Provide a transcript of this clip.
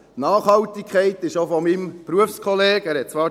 Nachhaltigkeit, dies wurde auch von meinem Berufskollegen gesagt;